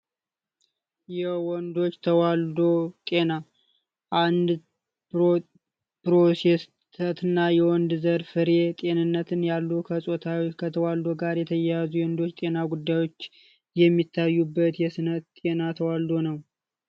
የወንዶች ተዋልዶ ጤና አንድ ወንድ ዘር ፍሬ ጤንነትን ያሉ ከተዋልዶ ጋር የተያያዙ የሌሎች የጤና ጉዳዮች የሚታይበት የስነ ጤና ተዋልዶ ነው።